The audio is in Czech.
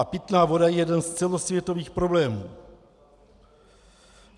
A pitná voda je jeden z celosvětových problémů.